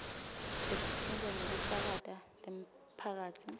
setinsita tekusakata temphakatsi